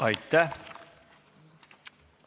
Aitäh!